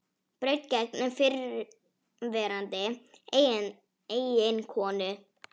Braut gegn fyrrverandi eiginkonu